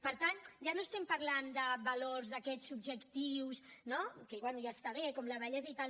per tant ja no estem parlant de valors d’aquests subjectius no que bé ja està bé com la bellesa i tal